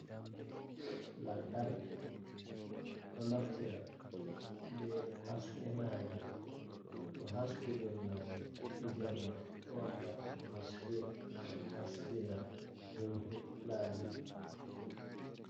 Lantarki, ɗo naftire be haske naage to haskedon naage jemma do wadda haske haskina himɓe laabi.